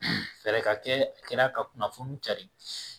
Fɛɛrɛ ka kɛ a kɛra ka kunnafoni cari